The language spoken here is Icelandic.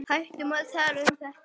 Hættum að tala um þetta.